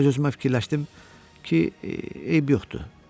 Öz-özümə fikirləşdim ki, eybi yoxdur.